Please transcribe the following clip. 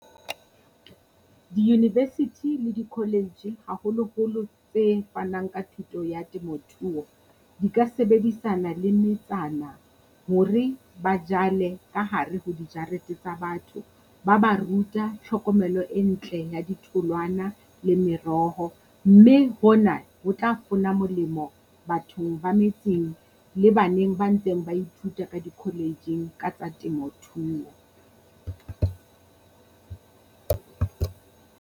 Di-university le di-college haholoholo tse fanang ka thuto ya temothuo, di ka sebedisana le metsana hore ba jale ka hare ho dijarete tsa batho ba ba ruta tlhokomelo e ntle ya di tholwana le meroho. Mme ho na ho tla fona molemo bathong ba metseng le baneng ba ntseng ba ithuta ka di-college-ng ka tsa temothuo.